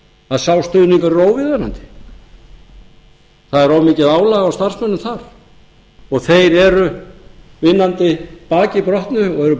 að sá stuðningur er óviðunandi það er of mikið álag á starfsmönnum þar og þeir eru vinnandi baki brotnu og eru